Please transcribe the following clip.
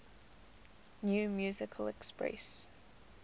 new musical express